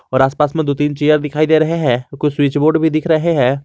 और आसपास में दो तीन चेयर दिखाई दे रहे हैं कुछ स्विच बोर्ड भी दिख रहे हैं।